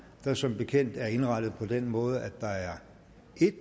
der som bekendt er indrettet på den måde at der er en